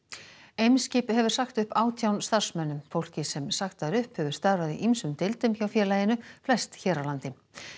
Eimskip hefur sagt upp átján starfsmönnum fólkið sem sagt var upp hefur starfað í ýmsum deildum hjá félaginu flest hér á landi